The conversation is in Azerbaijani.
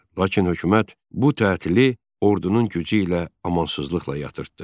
Lakin hökumət bu tətili ordunun gücü ilə amansızlıqla yatırtdı.